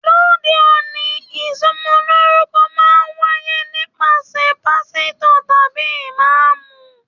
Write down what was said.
Lóde òní, ìsọmọlorúkọ máa n wáyé nípasẹ̀ pásítọ̀ tàbí Imaamu.